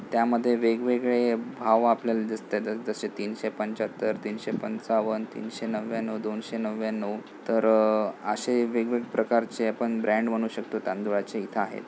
त्यामध्ये वेग-वेगळे भाव आपल्याला दिसतात. जशे तीनशे पंच्याहत्तर तीनशे पंचावन्न तीनशे नव्यानव दोनशे नव्यानव तर अशे वेग-वेगळे प्रकारचे आपण ब्रॅंड म्हणू शकतो तांदुळाचे इथ आहे.